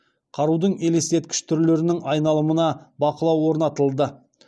қарудың елестеткіш түрлерінің айналымына бақылау орнатылды